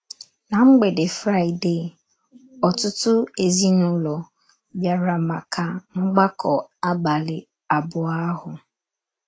Ná mgbede Fraịdee, ọtụtụ ezinụlọ bịara maka mgbakọ abalị abụọ ahụ.